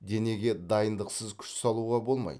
денеге дайындықсыз күш салуға болмайды